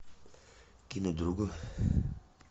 кинуть другу